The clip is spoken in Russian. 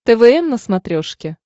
твм на смотрешке